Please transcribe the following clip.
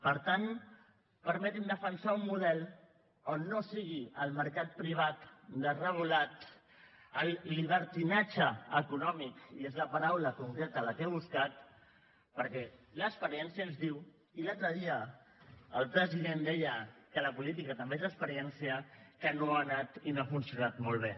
per tant permetin me defensar un model on no sigui el mercat privat desregulat el llibertinatge econòmic i és la paraula concreta la que he buscat perquè l’experiència ens diu i l’altre dia el president deia que la política també és experiència que no ha anat i no ha funcionat molt bé